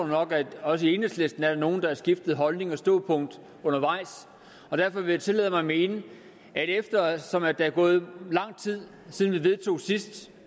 nok at der også i enhedslisten er nogle der har skiftet holdning og standpunkt undervejs derfor vil jeg tillade mig at mene at eftersom der er gået lang tid siden vi sidst